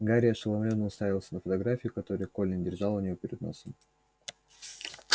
гарри ошеломлённо уставился на фотографию которую колин держал у него перед носом